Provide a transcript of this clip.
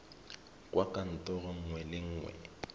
kwa kantorong nngwe le nngwe